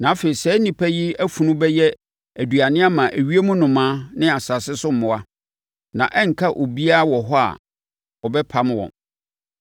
Na afei saa nnipa yi afunu bɛyɛ aduane ama ewiem nnomaa ne asase so mmoa, na ɛrenka obiara wɔ hɔ a ɔbɛpam wɔn.